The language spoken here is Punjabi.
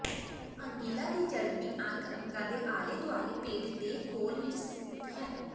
ਅੰਗੀਲਾਂ ਦੀ ਚਰਬੀ ਅੰਗ ਅੰਗਾਂ ਦੇ ਆਲੇ ਦੁਆਲੇ ਪੇਟ ਦੇ ਖੋਲ ਵਿੱਚ ਸਥਿਤ ਹੈ